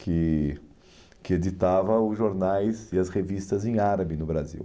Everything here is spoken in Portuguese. que que editava os jornais e as revistas em árabe no Brasil.